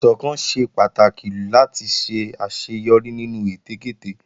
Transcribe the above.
Ìsọ̀kan ṣe pàtàkì láti ṣe àṣeyọrí nínú ète kéte